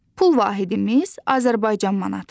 Pul vahidimiz Azərbaycan manatıdır.